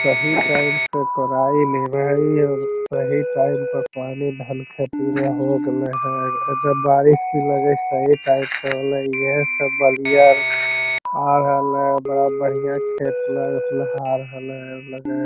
सही टाइम पे कोराई और सही टाइम पे पानी धन खेती में हो गेलय हेय एजा बारिश भी लगे हेय सही टाइम पे होलय इहे से लगाए हेय।